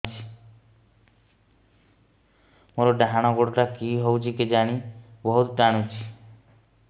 ମୋର୍ ଡାହାଣ୍ ଗୋଡ଼ଟା କି ହଉଚି କେଜାଣେ ବହୁତ୍ ଟାଣୁଛି